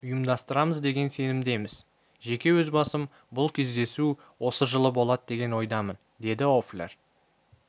ұйымдастырамыз деген сенімдеміз жеке өз басым бұл кездесу осы жылы болады деген ойдамын деді лффлер